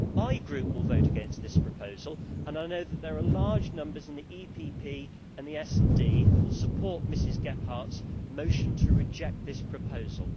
My group will vote against this proposal, and I know that there are large numbers in the EPP and the SD who will support Ms Gebhardt's motion to reject this proposal.